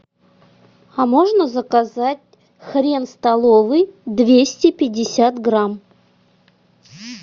а можно заказать хрен столовый двести пятьдесят грамм